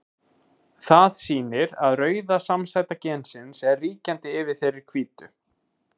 Það sýnir að rauða samsæta gensins er ríkjandi yfir þeirri hvítu.